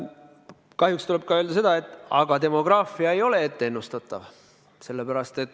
Kahjuks tuleb öelda ka seda, et demograafia ei ole ennustatav.